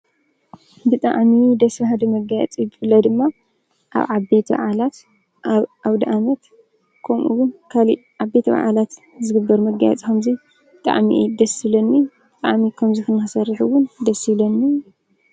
ብጣዕሚ ደስ በሃሊ መጋየፂ ብፍላይ ድማ ኣብ ዓበይቲ በዓላት ኣብ ኣውዳኣመት ከምኡ ውን ካሊእ ዓበይቲ በዓላት ዝግበር መጋየፂ ከምዚ ብጣዕሚ እዩ ደስ ዝብለኒ:: ንባዕለይ ከምዚ ንክሰርሕ ዉን ደስ ይብለኒ ።